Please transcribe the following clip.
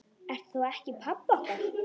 Ertu þá ekki pabbi okkar?